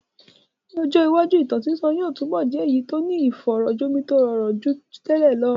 Ní ọjọ́ iwájú, ìtàn sísọ yóò túbọ̀ jẹ́ èyí tó ní ìfọ̀rọ̀ jomitoro ọ̀rọ̀ nínú ju tẹ́lẹ̀ lọ.